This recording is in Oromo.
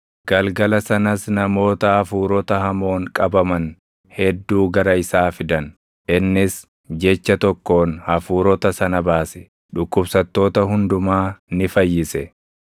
Galgala sanas namoota hafuurota hamoon qabaman hedduu gara isaa fidan; innis jecha tokkoon hafuurota sana baase; dhukkubsattoota hundumaa ni fayyise.